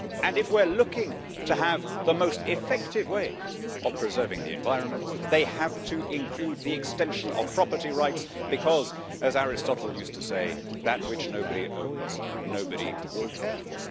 If we are looking to have the most effective ways of preserving the environment, they have to include the extension of property rights because as Aristotle used to say that which nobody owns, nobody will care for.